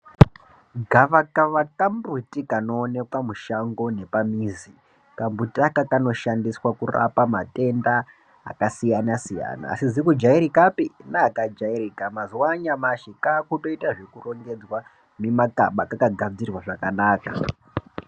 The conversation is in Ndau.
Gava kava ka mbuti kano onekwa mushango nepa mizi ka mbiti aka kano shandiswa kurapa matenda aka siyana siyana asizi ku jairikapi ne aka jairika mazuva anyamashi ka kutoita zveku rongedzwa mi makaba kaka gadzirwa zvakanaka.